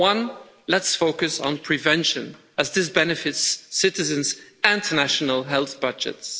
One let's focus on prevention, as this benefits citizens and national health budgets.